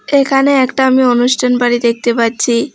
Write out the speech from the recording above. এখানে একটা আমি অনুষ্ঠান বাড়ি দেখতে পাচ্ছি।